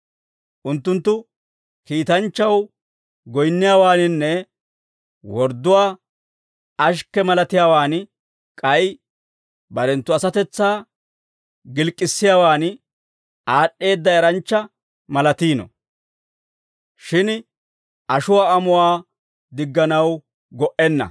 Unttunttu kiitanchchaw goyinniyaawaaninne wordduwaa ashikke malatiyaawaan k'ay barenttu asatetsaa gilk'k'issiyaawan aad'd'eedda eranchcha malatiino; shin ashuwaa amuwaa digganaw go"enna.